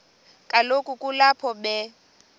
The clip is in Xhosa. kaloku kulapho be